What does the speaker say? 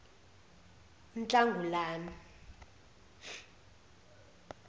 unhlangulane